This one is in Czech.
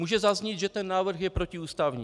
Může zaznít, že ten návrh je protiústavní.